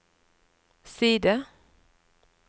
side